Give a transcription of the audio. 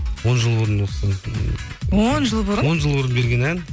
он жыл бұрын он жыл бұрын он жыл бұрын берген ән